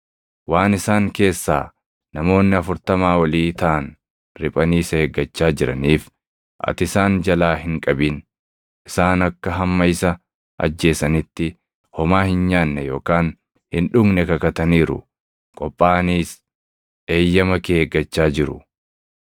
Waan isaan keessaa namoonni afurtamaa oli taʼan riphanii isa eeggachaa jiraniif ati isaan jalaa hin qabin. Isaan akka hamma isa ajjeesanitti homaa hin nyaanne yookaan hin dhugne kakataniiru; qophaaʼaniis eeyyama kee eeggachaa jiru.”